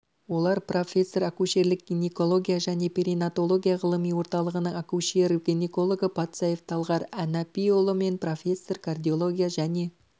олар профессор акушерлік гинекология және перинатология ғылыми орталығының акушер-гинекологы патсаев талғар әнапиұлы мен профессор кардиология және